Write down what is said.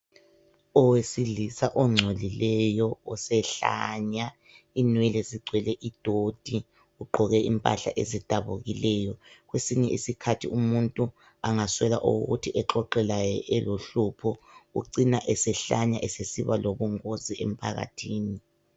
oweilisa ongcolileyo osehlanya inwele zigcwele idoti ugqoke impahla ezidabukileyo kwesinye isikhathi umuntu angaswela owokuthi exoxe laye elohlupho ucina esehlanya esesiba lobungozi emphakathini